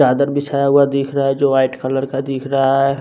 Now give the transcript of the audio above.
चादर बिछाया हुआ दिख रहा है जो वाइट कलर का दिख रहा है।